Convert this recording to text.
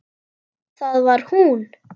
Það var hún.